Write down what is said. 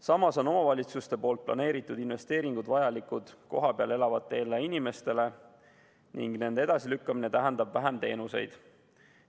Samas on omavalitsuste planeeritud investeeringud vajalikud kohapeal elavatele inimestele ning nende edasilükkamine tähendab vähem teenuseid.